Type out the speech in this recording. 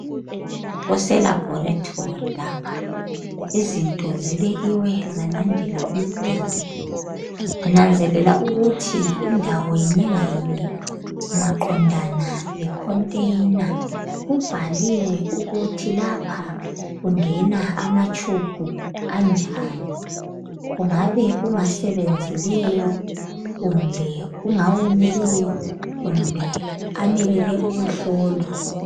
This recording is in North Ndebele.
Kuse "Laboratory" lapha izinto zibekiwe zalandela umduli nginanzelela ukuthi indawo yinye ngayinye maqondana le"container" kubhaliwe ukuthi lapha kungena ama"tube" anjani kungabe kungasebenzileyo kumbe kungawomileyo kumbe amelele ukuhlolwa.